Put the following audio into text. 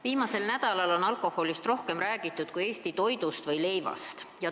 Viimasel nädalal on alkoholist rohkem räägitud kui Eesti leivast ja üldse toidust.